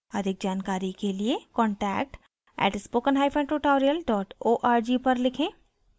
अधिक जानकारी के लिए contact @spokentutorial org पर लिखें